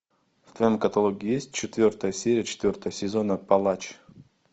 в твоем каталоге есть четвертая серия четвертого сезона палач